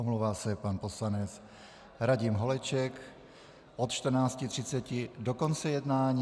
Omlouvá se pan poslanec Radim Holeček od 14.30 do konce jednání.